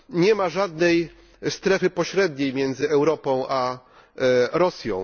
Nie ma żadnej strefy pośredniej między Europą a Rosją.